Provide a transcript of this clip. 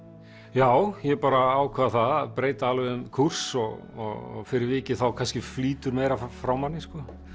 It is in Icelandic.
já ég ákvað það að breyta alveg um kúrs og fyrir vikið þá kannski flýtur meira frá manni